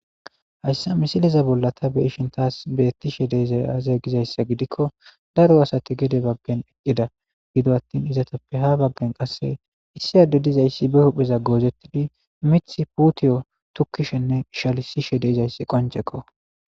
Hayssa misiliza bolla tha be7ishin thaas beeththishe de7izay aazee gizayssa gidikko daro asathi gede baggen eqqida; gido aththin izathappe ha baggen qasse issi adde dizayssi be hupheza goozeththidi miththa puuthiyo thokkishenne ishalissishe de7izayssi qonccekko.